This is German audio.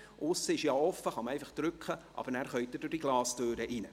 Die Aussentüre ist offen, danach können Sie mit dem Badge die Glastüre öffnen.